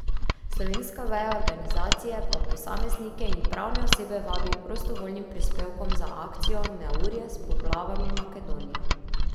Slovenska veja organizacije pa posameznike in pravne osebe vabi k prostovoljnim prispevkom za akcijo Neurje s poplavami Makedonija.